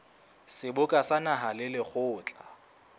seboka sa naha le lekgotla